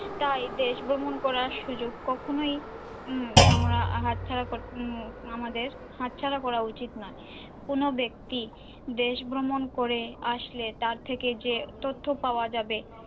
তাই দেশ ভ্রমণ করার সুযোগ কখনোই উম আমরা হাত ছাড়া উম আমাদের হাতছাড়া করা উচিত নয় কোন ব্যক্তি দেশ ভ্রমণ করে আসলে তার থেকে যে তথ্য পাওয়া যাবে,